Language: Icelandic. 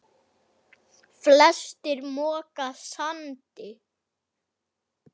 Flestir moka sandi.